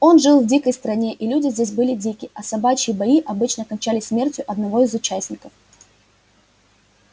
он жил в дикой стране и люди здесь были дикие а собачьи бои обычно кончались смертью одного из участников